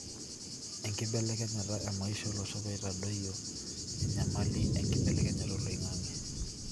enkibelekenyata emaisha olosho peitadoyio enyamali enkibelekenyata oloingange.